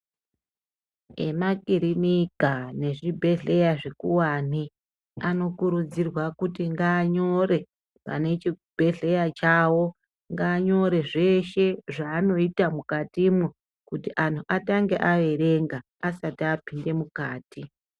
Ema kirinika ne zvibhedhlera zvikuwani anokurudzirwa kuti ngaanyore pane chi bhedhlera chawo ngaanyore zveshe zvanoita mukatimwo kuti anhu atange aerenga asati apinde mukati.